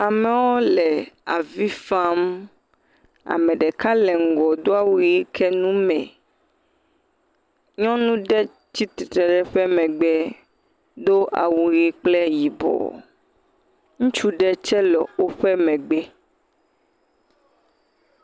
amewo le avi fam ame ɖeka le ŋgɔ dɔwu yi ke nume nyɔnu ɖe tsi tsitsi ɖe ƒe megbe dó awu yi kple yibɔ ŋutsu ɖe tsɛ le wóƒe megbe